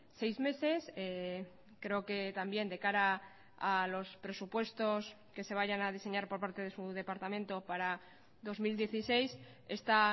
seis meses creo que también de cara a los presupuestos que se vayan a diseñar por parte de su departamento para dos mil dieciséis esta